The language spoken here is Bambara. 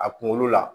A kunkolo la